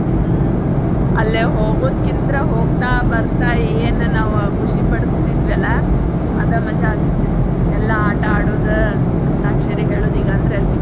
ಹ್ಮ್ ಅಲ್ಲೇ ಹೋಗುದಕಿಂತ್ರ ಹೋಗ್ತಾ ಬರ್ತಾ ಏನ್ ನಾವ ಖುಷಿ ಪಡಸ್ತಿದ್ವಲ್ಲಾ ಅದ ಮಜಾ ಅನಿಸ್ತಿತ್ರಿ ಎಲ್ಲಾ ಆಟ ಆಡುದ ಅಂತ್ಯಾಕ್ಷರಿ ಹೇಳುದ್ ಈಗ ಅಂದ್ರಲ್ಲಿ.